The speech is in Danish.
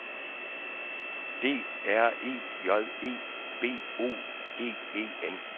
D R E J E B O G E N